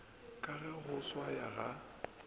ka ge go swaya ga